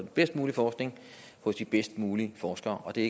bedst mulige forskning hos de bedst mulige forskere og det